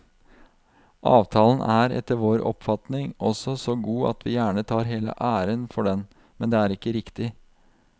Avtalen er etter vår oppfatning også så god at vi gjerne tar hele æren for den, men det er ikke riktig.